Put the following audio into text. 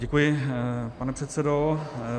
Děkuji, pane předsedo.